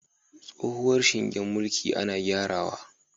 Tsohuwar shingen mulki ana gyarawa